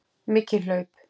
Mikil hlaup.